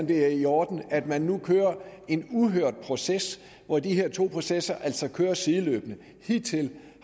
det er i orden at man nu kører en uhørt proces hvor de her to processer altså kører sideløbende hidtil